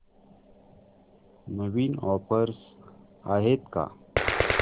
नवीन offers आहेत का